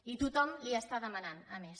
i tothom li ho està demanant a més